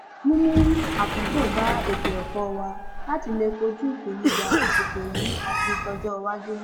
mímú àtúntò bá ètò ẹkọ wa láti lè kojú ìpèníjà àsìkò yìí àti tọjọ iwájú